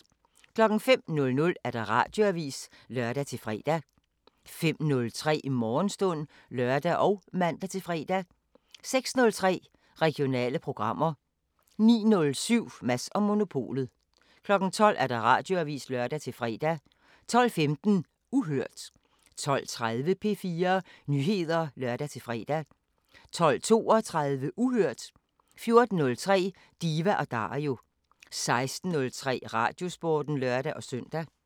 05:00: Radioavisen (lør-fre) 05:03: Morgenstund (lør og man-fre) 06:03: Regionale programmer 09:07: Mads & Monopolet 12:00: Radioavisen (lør-fre) 12:15: Uhørt 12:30: P4 Nyheder (lør-fre) 12:32: Uhørt 14:03: Diva & Dario 16:03: Radiosporten (lør-søn)